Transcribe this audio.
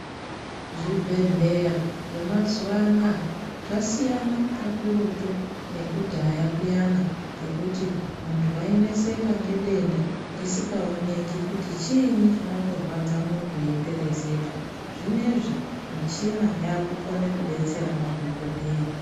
Zvibhedhleya zvemazuva anaya zvasiyana kakurutu nekudhaya kuyana kwekuti mundu waineseka ngedenda risingaoneki kuti chiini chinomborwadza mundu eyiperezeka zvinezvi michina yakukone kubetsera madhokodheya.